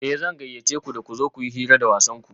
Eh zan gayyace ku da ku zo kuyi hira da wasanku